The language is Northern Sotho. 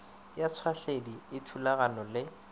ya tšhwahledi e thulanago le